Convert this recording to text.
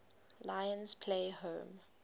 lions play home